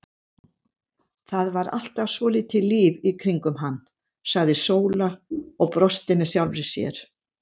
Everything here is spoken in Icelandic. Það var alltaf svolítið líf í kringum hann, sagði Sóla og brosti með sjálfri sér.